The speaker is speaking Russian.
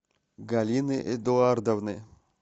галины эдуардовны